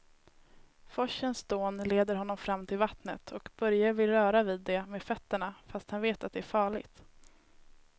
Forsens dån leder honom fram till vattnet och Börje vill röra vid det med fötterna, fast han vet att det är farligt.